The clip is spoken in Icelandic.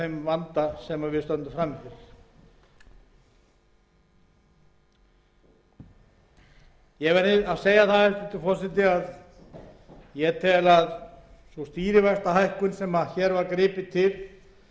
vanda sem við stöndum frammi fyrir hæstvirtur forseti ég tel að sú stýrivaxtahækkun sem hér var gripið til fyrir